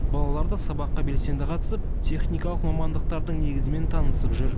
балалар да сабаққа белсенді қатысып техникалық мамандықтардың негізімен танысып жүр